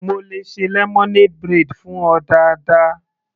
Mo le ṣe lemonade braid fún ọ dáadáa.